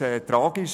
Es ist tragisch.